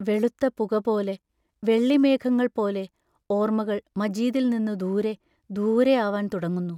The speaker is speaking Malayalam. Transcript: വെളുത്ത പുകപോലെ, വെള്ളിമേഘങ്ങൾ പോലെ, ഓർമകൾ മജീദിൽ നിന്നു ദൂരെ, ദൂരെയാവാൻ തുടങ്ങുന്നു.....